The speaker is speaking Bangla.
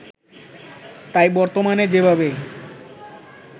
তাই বর্তমানে যেভাবে